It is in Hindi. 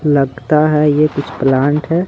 लगता है ये कुछ प्लांट है।